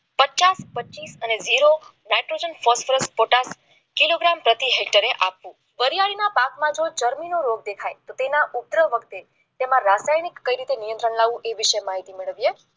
પચાસ પંચાવન અને જેરો નાઇટ્રોજન ફોસ્ફરસ અને કિલોગ્રામ પ્રતિ હેક્ટરે આપવું વરિયાળી પાકમાં જો રોગ દેખાય તો તેના વખતે તમારા રાસાયણિક કઈ રીતે નિયંત્રણ લાવ એ વિશે માહિતી મેળવીએ